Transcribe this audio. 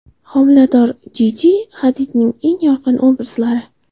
Homilador Jiji Hadidning eng yorqin obrazlari .